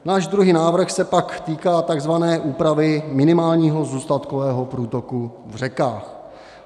Náš druhý návrh se pak týká takzvané úpravy minimálního zůstatkového průtoku v řekách.